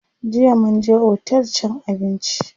Jiya mun je otel cin abinci.